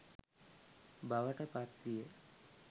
බවට පත් විය.